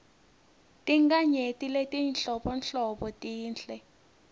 tinkhanyeti letinhlobonhlobo tinhle